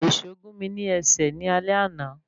Èsó gún mi ní ẹsẹ̀ ní alé àna.